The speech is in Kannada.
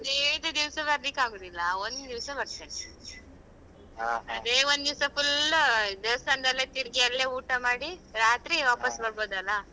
ಹದಿನೈದು ದಿವ್ಸ ಬರ್ಲಿಕ್ಕೆ ಆಗುದಿಲ್ಲ ಒಂದಿವ್ಸ ಬರ್ತೇನೆ ಅದೇ ಒಂದಿವ್ಸ full ದೇವಸ್ಥಾನದಲ್ಲೇ ತಿರ್ಗಿ ಅಲ್ಲೇ ಊಟ ಮಾಡಿ ರಾತ್ರಿ ವಾಪಾಸ್ ಬರ್ಬೋದಲ್ಲ.